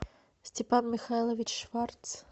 степан михайлович шварц